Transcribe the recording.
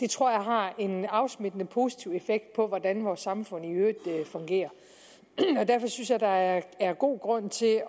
tror jeg har en afsmittende positiv effekt på hvordan vores samfund i øvrigt fungerer derfor synes jeg der er er god grund til